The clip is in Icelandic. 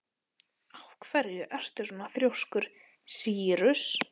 Af hverju ertu svona þrjóskur, Sýrus?